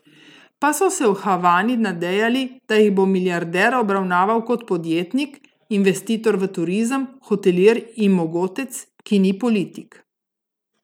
Pa so se v Havani nadejali, da jih bo milijarder obravnaval kot podjetnik, investitor v turizem, hotelir in mogotec, ki ni politik!